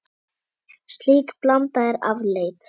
Slík blanda er afleit.